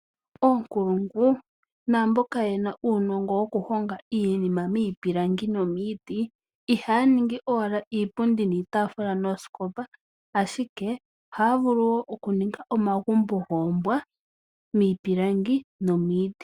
Oonkulungu naamboka yena uunongo wokuhonga iinima miipilangi nomiiti. Ihaya ningi owala iipundi, iitaafula noshowoo oombete , ashike ohaya vulu wo okuninga omagumbo goombwa miipilangi nomiiti.